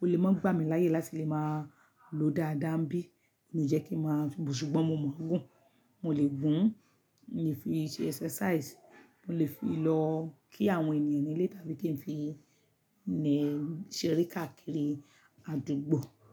Ó lè máa ń gbá mi láyè láti lè máa lò dáadáa níbí. Kò ní jẹ́ kí ń máa, ṣùgbọ́n mo mọ̀ gún. Mo lè gún, mo lè fi ṣe exercise, mo lè fi lọ kí àwọn ènìyàn nílé tàbí kí n fi lè ṣe ere káàkiri àdúgbò.